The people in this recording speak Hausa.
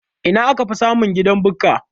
Ina akafi samun gidan Bukka?